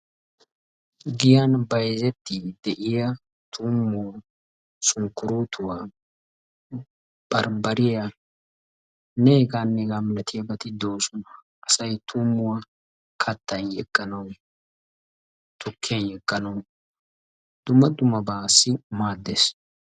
Giyan bayzettiiddi de"iya tuummuwa, sunkkuruutuwa, barbbariyanne hegaanne hegaa milatiyabati de"oosona. Asayi tuummuwa kattan yegganawu, tukkiyan yegganawu dumma dummabaassi maaddes.